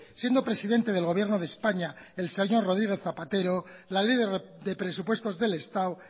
siendo presidente del gobierno de españa el señor rodríguez zapatero la ley de presupuestos del estado